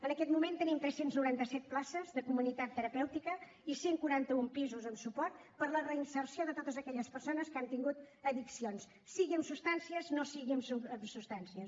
en aquest moment tenim tres cents i noranta set places de comunitat terapèutica i cent i quaranta un pisos en suport per a la reinserció de totes aquelles persones que han tingut addiccions sigui amb substàncies no sigui amb substàncies